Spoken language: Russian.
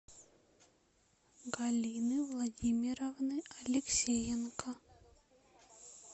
галины владимировны алексеенко